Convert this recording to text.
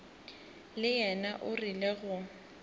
le yena o rile go